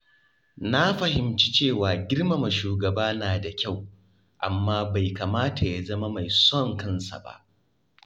Na fahimci cewa girmama shugaba na da kyau, amma bai kamata ya zama mai son kansa ba.